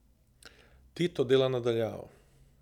Tito dela na daljavo.